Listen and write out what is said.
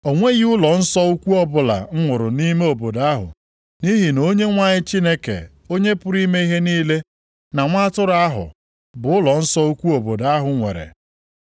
O nweghị ụlọnsọ ukwu ọbụla m hụrụ nʼime obodo ahụ nʼihi na Onyenwe anyị Chineke, Onye pụrụ ime ihe niile na Nwa Atụrụ ahụ bụ ụlọnsọ ukwu obodo ahụ nwere.